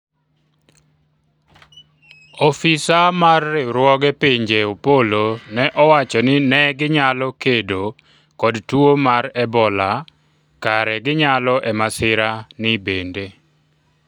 ofisa mar riwruoge pinje Opolo ne owacho ni ' ne ginyalo kedo kod tuo mar ebola kare ginyalo e masira ni bende